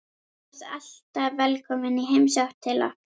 Þú ert alltaf velkomin í heimsókn til okkar.